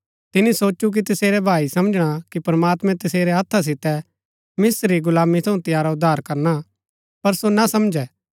तिनी सोचु की तसेरै भाई समझणा कि प्रमात्मैं तसेरै हत्था सितै मिस्त्र री गुलामी थऊँ तंयारा उद्धार करणा पर सो ना समझै